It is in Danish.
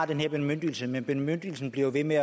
den her bemyndigelse men bemyndigelsen bliver jo ved med